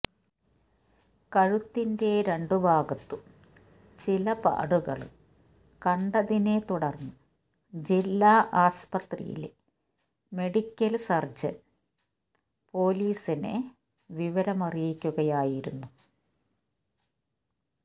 കഴുത്തിന്റെ രണ്ടുഭാഗത്തും ചില പാടുകള് കണ്ടതിനെ തുടര്ന്ന് ജില്ലാ ആസ്പത്രിയിലെ മെഡിക്കല് സര്ജന് പൊലീസിനെ വിവരമറിയിക്കുകയായിരുന്നു